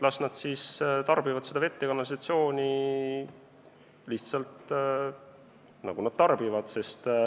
Las nad siis tarbivad seda vett ja kanalisatsiooni lihtsalt, nagu nad tarbivad.